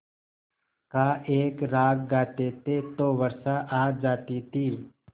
का एक राग गाते थे तो वर्षा आ जाती थी